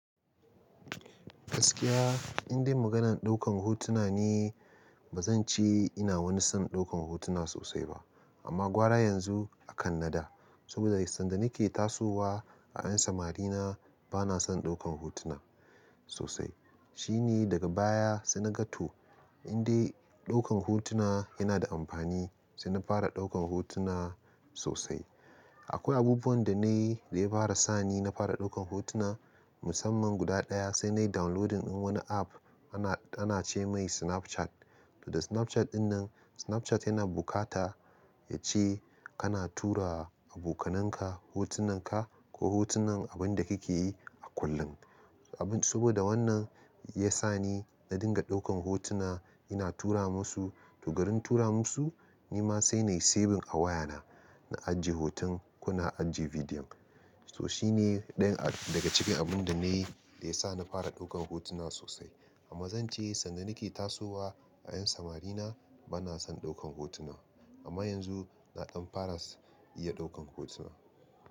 Gaskiya in dai maganan ɗaukan hotuna ne bazan ce ina wani son ɗaukan hotuna sosai ba. Amma gwara yanzu akan na da saboda sanda nake tasowa a yan samari na bana son ɗaukan hotuna sosai. Shine daga baya sai na ga to in dai ɗaukan hotuna yana da amfani sai na fara ɗaukan hotuna sosai. Akwai abubuwan da na yi da ya fara sani na fara ɗaukan hotuna musamman guda ɗaya sai na yi downloading din wani app ana, ana ce mai Snapchat. Da Snapchat dinnan Snapchat yana bukata yace ana tura abokananka hotunan ka ko hotunan abinda kake yi a kullum. Abin saboda wannan ya sa ni na dinga ɗaukan hotuna ina tura masu. To garin tura masu nima sai na yi saving a wayana na ajiye hoton kona ajiye bidiyo. So shine ɗayan daga cikin abunda na yi da ya sa na fara ɗaukan hotuna sosai. Amma zan ce sanda nake tasowa a yan samari na bana son ɗaukan hotuna amma yanzu na ɗan fara iya ɗaukan hotuna.